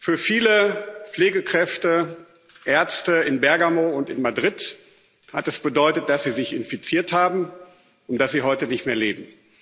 Für viele Pflegekräfte und Ärzte in Bergamo und in Madrid hat das bedeutet, dass sie sich infiziert haben und dass sie heute nicht mehr leben.